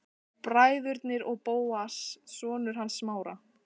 Bræðurnir og Bóas, sonur hans Smára.